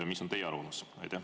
Mis on teie arvamus?